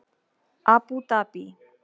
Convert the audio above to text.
Abú Dabí